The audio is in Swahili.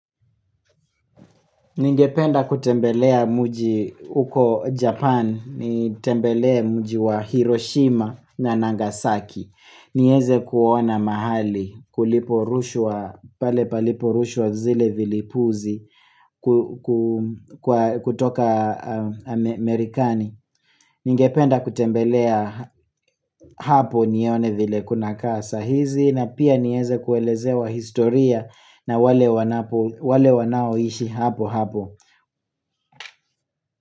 Ningependa kutembelea mji uko Japan, nitembelee mji wa Hiroshima na Nagasaki, nieze kuona mahali kuli porushwa pale paliporushwa zile vilipuzi kutoka Amerikani. Ningependa kutembelea hapo nione vile kuna kaa saa hizi na pia nieze kuelezewa historia na wale wanaoishi hapo hapo.